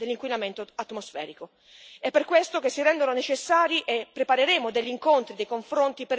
È per questo che si rendono necessari e intendiamo preparare degli incontri e dei confronti per discutere e affrontare tali problemi.